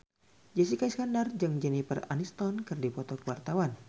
Jessica Iskandar jeung Jennifer Aniston keur dipoto ku wartawan